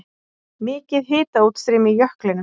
Mikið hitaútstreymi í jöklinum